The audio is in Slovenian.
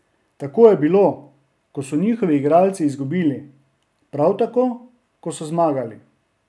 Tako je bilo, ko so njihovi igralci izgubili, prav tako, ko so zmagali.